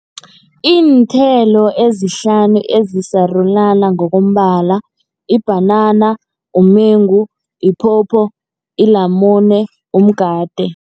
Iinthelo ezihlanu ezisarulana ngokombala, ibhanana, umengu, iphopho, ilamune, umgade.